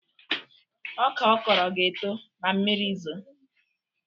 Ọka ọ kọrọ ga-eto ma mmiri zoo